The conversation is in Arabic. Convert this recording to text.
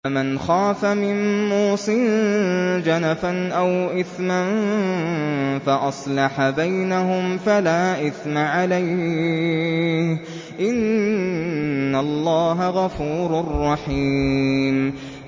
فَمَنْ خَافَ مِن مُّوصٍ جَنَفًا أَوْ إِثْمًا فَأَصْلَحَ بَيْنَهُمْ فَلَا إِثْمَ عَلَيْهِ ۚ إِنَّ اللَّهَ غَفُورٌ رَّحِيمٌ